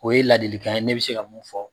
O ye ladilikan ye ne bi se ka mun fɔ